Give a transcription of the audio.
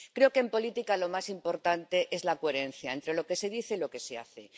Creo que en política lo más importante es la coherencia entre lo que se dice y lo que se hace.